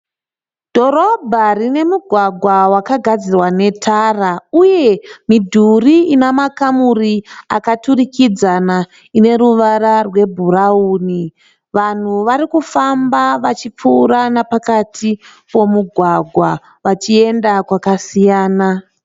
Dhorobha rine mugwagwa wakagadzirwa netara uye midhuri ina makamuri akaturikidzana ineruvara rwebhurauni. Vanhu varikufamba vachipfuura napakati pomugwagwa vachienda kwakasiyana.